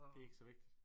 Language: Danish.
Det ikke så vigtigt